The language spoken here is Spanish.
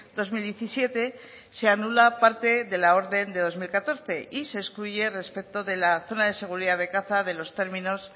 dos mil diecisiete se anula parte de la orden de dos mil catorce y se excluye respecto de la zona de seguridad de caza de los términos